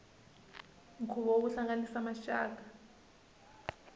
nkhuvo wo hlanganisa maxaka